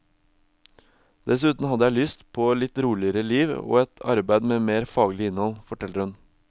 Dessuten hadde jeg lyst på et litt roligere liv og et arbeid med mer faglig innhold, forteller hun.